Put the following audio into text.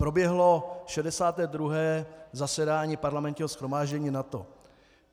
Proběhlo 62. zasedání Parlamentního shromáždění NATO.